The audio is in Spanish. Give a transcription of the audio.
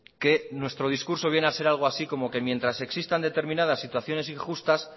que nuestro discurso viene a ser algo así como que mientras existan determinadas situaciones injustas